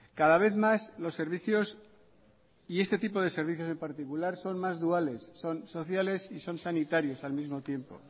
cada vez más los servicios y este tipo de servicios en particular son más duales son sociales y son sanitarios al mismo tiempo